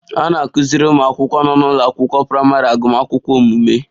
A na-akụziri ụmụ akwụkwọ nọ n'ụlọ akwụkwọ praịmarị agụmakwụkwọ omume